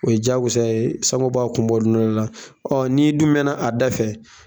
O ye jagosa ye b'a kun bɔ don dɔ la n'i dun mɛna da fɛ